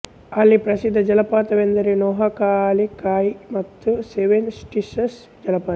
ಅಲ್ಲಿ ಪ್ರಸಿದ್ಧ ಜಲಪಾತವೆಂದರೆ ನೊಹಕಾಲಿಕಾಯಿ ಮತ್ತು ಸೆವೆನ್ ಸಿಸ್ಟರ್ಸ್ ಜಲಪಾತ